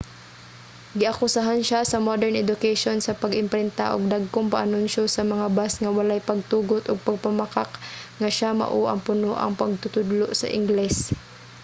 giakusahan siya sa modern education sa pag-imprinta og dagkong paanunsiyo sa mga bus nga walay pagtugot ug pagpamakak nga siya mao ang punoang magtutudlo sa ingles